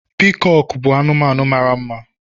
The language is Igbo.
Piikọọkụ bụ anụmanụ mara mma.